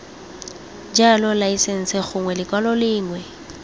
jalo laesense gongwe lekwalo lengwe